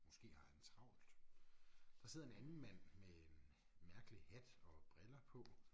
Måske har han travlt. Der sidder en anden mand med en mærkelig hat og briller på